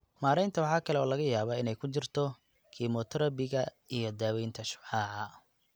Maaraynta waxa kale oo laga yaabaa inay ku jirto kiimoterabiga iyo daaweynta shucaaca.